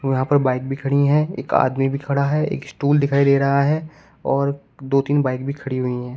यहां पर बाइक भी खड़ी हैं एक आदमी भी खड़ा है एक स्टूल दिखाई दे रहा है और दो तीन बाइक भी खड़ी हुई हैं।